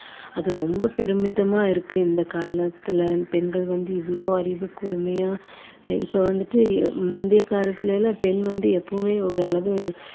அது ரொம்ப பெருமிதமா இருக்கு இந்த காலத்துல பெண்கள் வந்து இவ்ளோ அறிவு கூர்மையா இப்போ வந்துட்டு முந்தைய காலத்துல எல்லாம் பெண் வந்து எப்பவுமே ஒரு அளவு